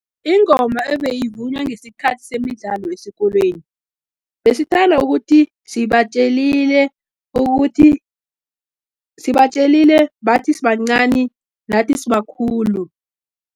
Ingoma ebeyivunywa ngesikhathi semidlalo esikolweni, besithanda ukuthi, sibatjelile bathi sibancani, nathi sibakhulu.